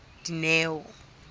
dineo